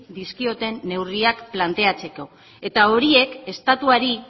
dizkioten neurriak planteatzeko eta horiek estatuari